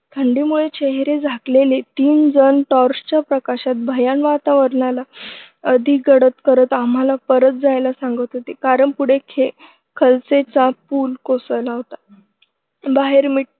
थंडीमुळे चेहरे झाकलेले तीन जण torch च्या प्रकाशात भयाण वातावरणात अधिक पडत आम्हाला परत जायला सांगत होते कारण पुढे खे खलसे चा पूल कोसळला होता. बाहेर मिट्ट